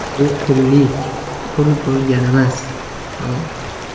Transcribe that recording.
Bu qullik, qul bo‘lganimiz, tamom.